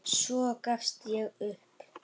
Svo gafst ég upp.